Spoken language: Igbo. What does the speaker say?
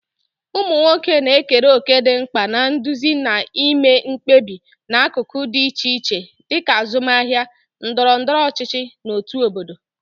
Ụmụ nwoke na-ekere òkè dị mkpa na nduzi na ime mkpebi n'akụkụ dị iche iche, dịka azụmahịa, ndọrọ ndọrọ ọchịchị, na òtù obodo.